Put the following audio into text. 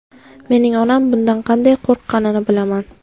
Mening onam bundan qanday qo‘rqqanini bilaman.